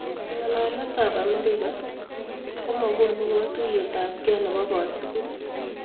Ng'alalet ap Amerika komagunu katuiyet ap kei nepoo kotugul